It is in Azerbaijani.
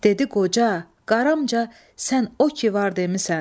Dedi qoca, qaramca sən o ki var demisən.